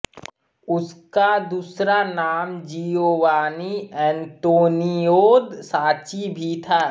उसका दूसरा नाम जिओवान्नी एंतोनिओद साच्ची भी था